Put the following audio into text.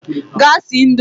Gaa sie indomie!